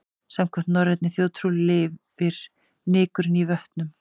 Samkvæmt norrænni þjóðtrú lifur nykurinn í vötnum.